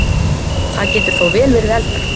Það getur þó vel verið eldra.